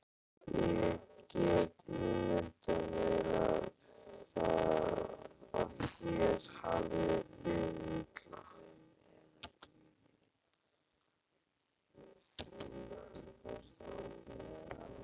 Ég get ímyndað mér að þér hafi liðið illa.